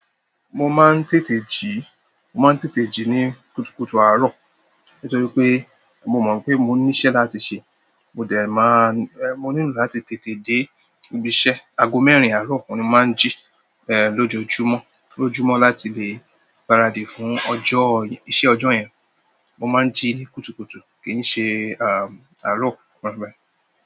Mo máa ń tètè jí, mo máa ń tètè jí ní kùtùkùtù àárọ̀, nítorí pé mo mọ̀ pé mo ní ìṣe láti ṣe. Mo dẹ̀ máa, ẹ́, mo nílò láti tètè dé ibi iṣẹ́. Ago mẹ́rin àárọ̀, oun ni mo máa ń jí, ẹ́, lójoójúmọ́, lójúmọ́ láti lè gbaradì fún ọjọ́, iṣẹ́ ọjọ́ yẹn. Mo máa ń jí ní kùtùkùtù, kì í ṣe, à, àárọ̀.